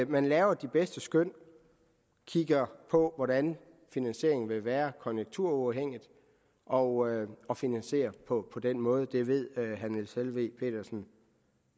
man laver de bedste skøn og kigger på hvordan finansieringen vil være konjunkturuafhængigt og og finansierer det på den måde det ved herre niels helveg petersen